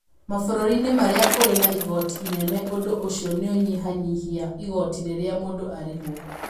Mabũrũri-inĩ marĩa kũrĩ na igooti inene ũndũ ũcio nĩ ũnyihanyihia igooti rĩrĩa mũndũ arĩhwo.